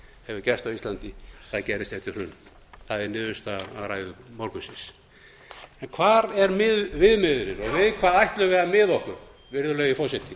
hefur gerst gerðist eftir hrunið það er niðurstaðan af ræðum morgunsins en hvar er viðmiðunin og við hvað ætlum við að miða okkur virðulegi forseti